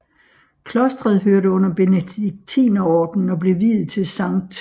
Klostret hørte under benediktinerordenen og blev viet til Sct